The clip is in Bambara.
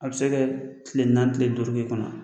A bɛ se ka tile naani tile duuru k'i kunna